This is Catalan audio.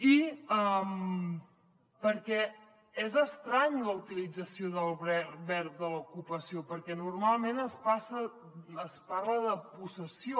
i perquè és estranya la utilització del mot ocupació perquè normalment es parla de possessió